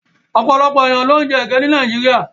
Ọ̀pọ̀lọpọ̀ èèyàn ló ń jẹ ege ní Nàìjíríà.